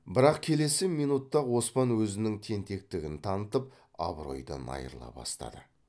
бірақ келесі минутта ақ оспан өзінің тентектігін танытып абыройдан айрыла бастады